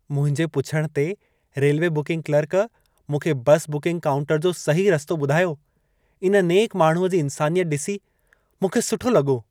मुंहिंजे पुछण ते रेलवे बुकिंग क्लर्क, मूंखे बसि बुकिंग काउंटर जो सही रस्तो ॿुधायो। इन नेक माण्हूअ जी इंसानियत ॾिसी मूंखे सुठो लॻो।